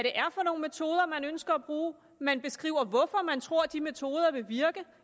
ønsker at bruge man beskriver hvorfor man tror at de metoder vil virke